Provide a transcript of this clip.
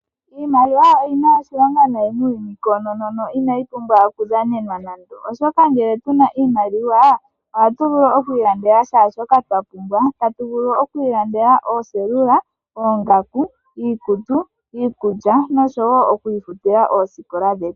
Iimaliwa oyina oshilonga nayi muuyuni koonono inayi pumbwa okudhanenwa nando oshoka ngele tuna iimaliwa ohatu vulu oku ilandela kehe shoka twapumbwa. Tatu vulu oku ilandela ooselula ,oongaku, iikutu ,iikulya noshowo oku ifutila oosikola dhetu